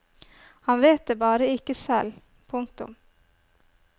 Han vet det bare ikke selv. punktum